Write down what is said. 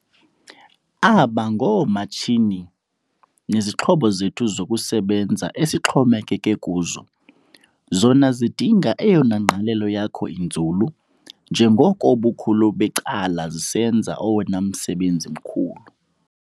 Aba ngoomatshini nezixhobo zethu zokusebenza esixhomekeke kuzo. Zona zidinga eyona ngqalelo yakho inzulu njengoko ubukhulu becala zisenza owona msebenzi mkhulu.